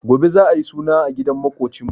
Gobe za'a yi suna a gidan maƙocinmu.